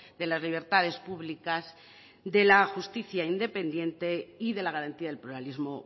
de las libertades públicas de la justicia independiente y de la garantía del pluralismo